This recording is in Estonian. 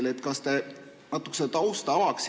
Kas te avaksite natuke tausta?